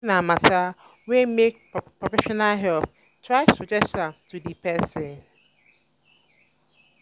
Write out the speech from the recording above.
if na matter wey make professional help try suggest am to di persin